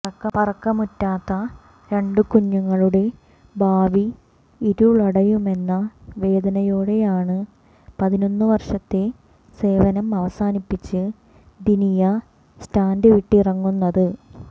പറക്കമുറ്റാത്ത രണ്ട് കുഞ്ഞുങ്ങളുടെ ഭാവി ഇരുളടയുമെന്ന വേദനയോടെയാണ് പതിനൊന്ന് വര്ഷത്തെ സേവനം അവസാനിപ്പിച്ച് ദിനിയ സ്റ്റാൻഡ് വിട്ടിറങ്ങുന്നത്